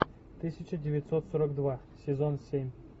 тысяча девятьсот сорок два сезон семь